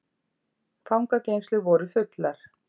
Fangageymslur voru fullar